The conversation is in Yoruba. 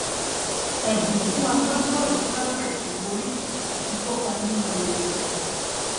ẹbùn fún agbábọọlù alápèrẹ tó borí àti kópa nínú ayẹyẹ